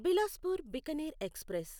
Bilaspur Bikaner express